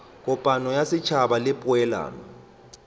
kopano ya setšhaba le poelano